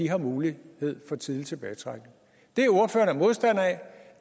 har mulighed for tidlig tilbagetrækning det ordføreren er modstander af